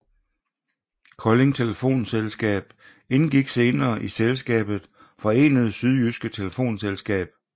Kolding Telefonselskab indgik senere i selskabet Forenede Sydjydske Telefonselskab